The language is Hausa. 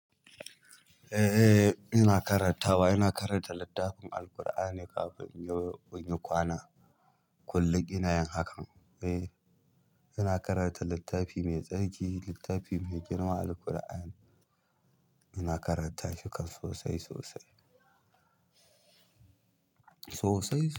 Eh, ina karantawa. Ina karanta littafin Alqur'ani kafin in yi kwana. Kullum ina yin hakan. Eh, ina karanta littafi mai tsarki, littafi mai girma Alqur'an. Ina karanta shi kam sosai, sosai.